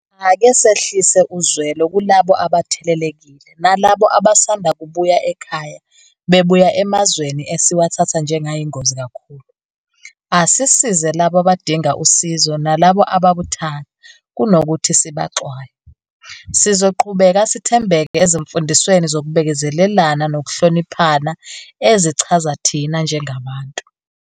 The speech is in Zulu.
Ake sehlise uzwelo kulabo abathelelekile, nalabo abasanda kubuya ekhaya bebuya emazweni esiwathatha njengayingozi kakhulu. Asisize labo abadinga usizo nalabo ababuthaka, kunokuthi sibaxwaye. Sizoqhubeka sithembeke ezimfundisweni zokubekezelelana nokuhlonipha ezichaza thina njengabantu.